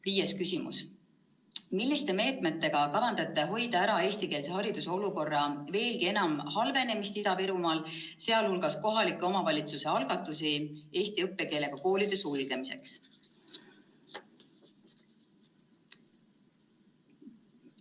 Viies küsimus: "Milliste meetmetega kavandate hoida ära eestikeelse hariduse olukorra veelgi enam halvenemist Ida-Virumaal, sealhulgas kohalike omavalitsuste algatusi eesti õppekeelega koolide sulgemiseks?